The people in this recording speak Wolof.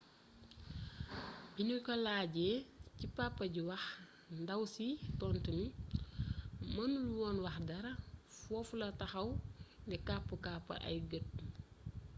biñu ko laajee ci papa ji wax ndaw si tontu ni mënul woon wax dara foofu la taxaw di kapp-kappal ay gët